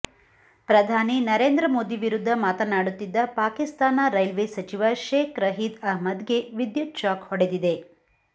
ಪ್ರಧಾನಿ ನರೇಂದ್ರ ಮೋದಿ ವಿರುದ್ಧ ಮಾತನಾಡುತ್ತಿದ್ದ ಪಾಕಿಸ್ತಾನ ರೈಲ್ವೆ ಸಚಿವ ಶೇಕ್ ರಶೀದ್ ಅಹ್ಮದ್ ಗೆ ವಿದ್ಯುತ್ ಶಾಕ್ ಹೊಡೆದಿದೆ